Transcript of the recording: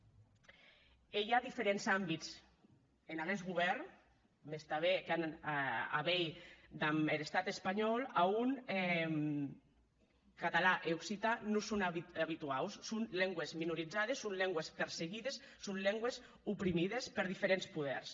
e i a diferents àmbits en aguest govèrn mès tanben qu’an a veir damb er estat espanhòu a on catalan e occitan non son abituaus son lengües minorizades son lengües perseguides son lengües oprimides per diferents poders